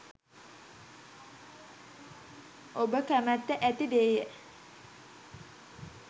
ඔබ කැමැත්ත ඇති දේය.